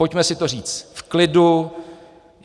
Pojďme si to říct v klidu.